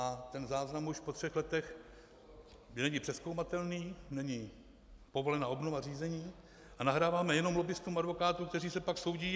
A ten záznam už po třech letech není přezkoumatelný, není povolena obnova řízení a nahráváme jenom lobbistům advokátů, kteří se pak soudí.